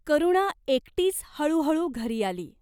करुणा एकटीच हळूहळू घरी आली.